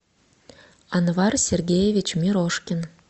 анвар сергеевич мирошкин